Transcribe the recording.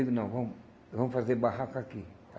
Eu digo, não, vamos vamos fazer barraca aqui.